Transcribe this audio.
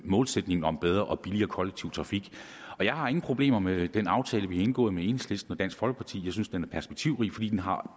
målsætningen om bedre og billigere kollektiv trafik jeg har ingen problemer med den aftale vi har indgået med enhedslisten og dansk folkeparti jeg synes den er perspektivrig fordi den har